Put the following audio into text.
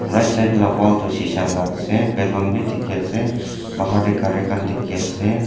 rightside la wall toh shisha la ase balloon bi dikhi ase bahar teh gari khan dikhi ase.